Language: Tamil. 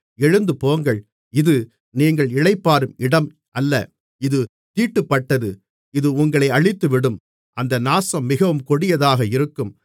எழுந்து போங்கள் இது நீங்கள் இளைப்பாறும் இடம் அல்ல இது தீட்டுப்பட்டது இது உங்களை அழித்துவிடும் அந்த நாசம் மிகவும் கொடியதாக இருக்கும்